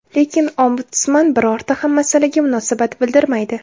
Lekin Ombudsman birorta ham masalaga munosabat bildirmaydi.